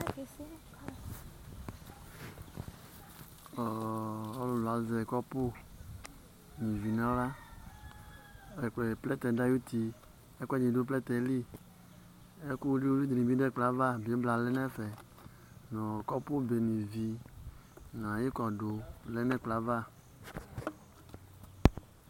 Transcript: Ɔɔ ɔlʋlʋ azɛ kɔpʋ nʋ ivi nʋ aɣla Ɛkʋɛ plɛtɛ dʋ ayuti, ɛkʋɛdɩ dʋ plɛtɛ yɛ li Ɛkʋ wili-wili dɩnɩ bɩ dʋ ɛkplɔ yɛ ava, bɩbla lɛ ɛfɛ nʋ kɔpʋbe nyuǝ ivi nʋ ayʋ ɩkɔdʋ lɛ nʋ ɛkplɔ yɛ ava